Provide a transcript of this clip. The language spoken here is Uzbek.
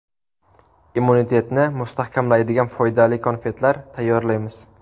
Immunitetni mustahkamlaydigan foydali konfetlar tayyorlaymiz.